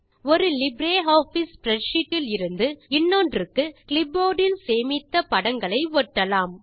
ஒரு LibreOffice spreadsheet இலிருந்து இன்னொன்றுக்கு கிளிப்போர்ட் இல் சேமித்த படங்களை ஒட்டலாம்